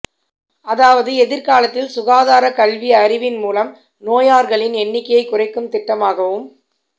அதாவது எதிர்காலத்தில் சுகாதார கல்வி அறிவின் மூலம் நோயார்களின் எண்ணிக்கையை குறைக்கும் திட்டமாகவும்